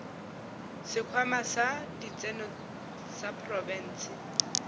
sekhwama sa ditseno sa profense